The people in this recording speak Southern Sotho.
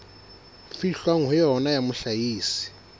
fihlwang ho yona ya mohlahisi